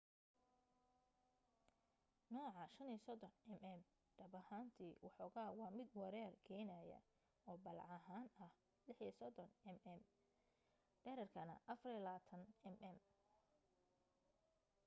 nooca 35mm dhab ahaantii waxoogaa waa mid wareer keenaya oo ballac ahaan ah 36mm dhererkana 24mm